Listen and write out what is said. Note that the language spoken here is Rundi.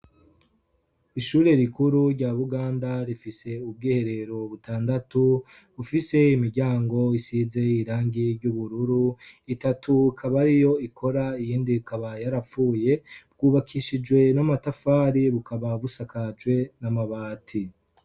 Ishure rikuru rya Buganda rifise ubwiherero butandatu bufise imiryango isize irangi ry'ubururu, itatu ikaba ariyo ikora iyindi ikaba yarapfuye, bwubakishijwe n'amatafari bukaba busakajwe n'amabati